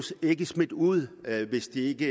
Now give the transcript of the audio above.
ikke smidt ud hvis de ikke